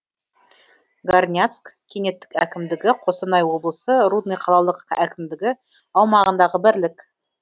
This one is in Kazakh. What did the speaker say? горняцк кенттік әкімдігі қостанай облысы рудный қалалық әкімдігі аумағындағы бірлік